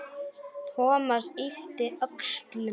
Thomas yppti öxlum.